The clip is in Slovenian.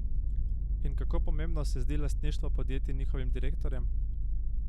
In kako pomembno se zdi lastništvo podjetij njihovim direktorjem?